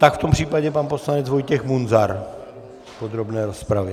Tak v tom případě pan poslanec Vojtěch Munzar v podrobné rozpravě.